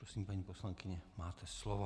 Prosím, paní poslankyně, máte slovo.